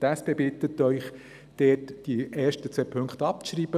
Die SP bittet Sie, die ersten beiden Punkte abzuschreiben.